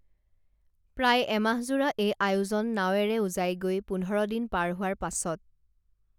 প্ৰায় এমাহজোৰা এই আয়োজন নাৱেৰে উজাই গৈ পোন্ধৰ দিন পাৰ হোৱাৰ পাছত